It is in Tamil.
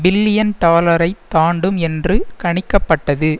பில்லியன் டாலரை தாண்டும் என்று கணிக்க பட்டது